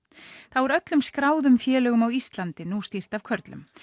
þá er öllum skráðum félögum á Íslandi nú stýrt af körlum